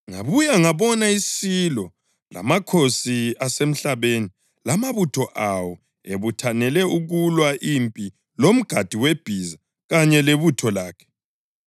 Ngabuya ngabona isilo lamakhosi asemhlabeni lamabutho awo ebuthanele ukulwa impi lomgadi webhiza kanye lebutho lakhe.